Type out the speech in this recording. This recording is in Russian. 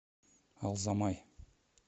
алзамай